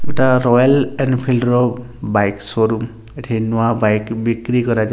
ଗୋଟାଏ royal Enfield ର bike showroom ଏଠି ନୂଆ ବାଇକ୍ ବିକ୍ରି କରାଯା --